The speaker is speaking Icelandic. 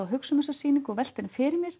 hugsa um þessa sýningu og velta henni fyrir mér